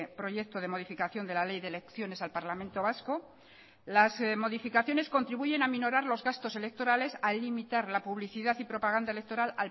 proyecto de modificación de la ley de elecciones al parlamento vasco las modificaciones contribuyen a minorar los gastos electorales al limitar la publicidad y propaganda electoral